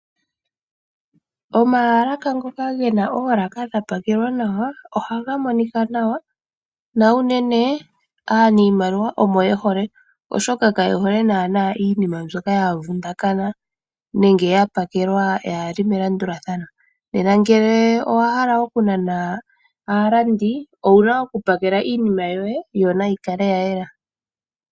Omaalaka ngoka gena oolaka dhapakelwa nawa ohaga monika nawa, na unene aanimaliwa omo yehole oshoka ka yehole naana iinima mbyoka ya vundakana nenge yapakelwa ka yili melandulathano . Nena ngele owahala kunana aalandi , owuna okupakela iinima yoye , yo naikale yayela .